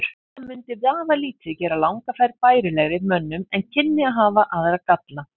Þetta mundi vafalítið gera langa ferð bærilegri mönnum en kynni að hafa aðra galla.